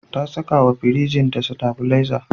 Ta sakawa firinjinta sitabileza.